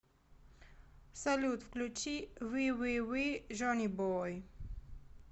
салют включи вививи джонибой